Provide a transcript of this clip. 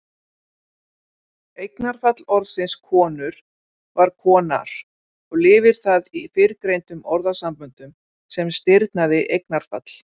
Eignarfall orðsins konur var konar og lifir það í fyrrgreindum orðasamböndum sem stirðnað eignarfall.